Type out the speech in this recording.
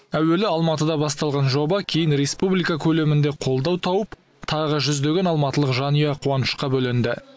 әуелі алматыда басталған жоба кейін республика көлемінде қолдау тауып тағы жүздеген алматылық жанұя қуанышқа бөленді